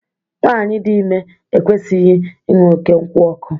Nwaanyi dị ime ekwesịghị ịṅụ oké nkwụ ọkụ.